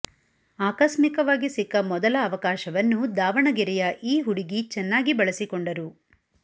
ಆಕಸ್ಮಿಕವಾಗಿ ಸಿಕ್ಕ ಮೊದಲ ಅವಕಾಶವನ್ನು ದಾವಣಗೆರೆಯ ಈ ಹುಡುಗಿ ಚೆನ್ನಾಗಿ ಬಳಸಿಕೊಂಡರು